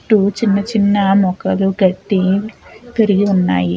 చుట్టూ చిన్న చిన్న మొక్కలు గడ్డి పెరిగి ఉన్నాయి.